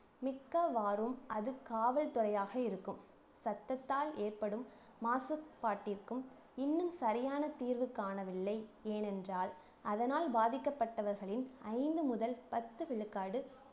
மிக்க வாரும் அது காவல்துறையாக இருக்கும் சத்தத்தால் ஏற்படும் மாசுபாட்டிற்கும் இன்னும் சரியான தீர்வு காணவில்லை ஏனென்றால் அதனால் பாதிக்கப்பட்டவர்களின் ஐந்து முதல் பத்து விழுக்காடு